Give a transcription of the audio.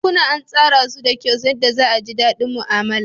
Bankuna an tsara su da kyau yadda za a ji daɗi mu'amala.